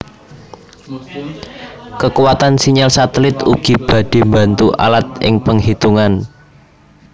Kekuatan sinyal satelit ugi badhe mbantu alat ing penghitungan